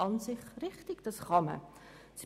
Das ist an sich richtig, das kann man tun.